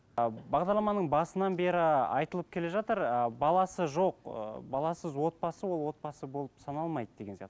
ы бағдарламаның басынан бері айтылып келе жатыр ы баласы жоқ ы баласыз отбасы ол отбасы болып саналмайды деген сияқты